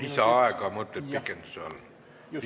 Lisaaega mõtled pikenduse all?